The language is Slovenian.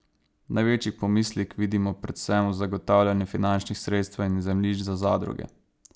Največji pomislek vidimo predvsem v zagotavljanju finančnih sredstev in zemljišč za zadruge.